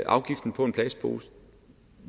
afgiften på en plastpose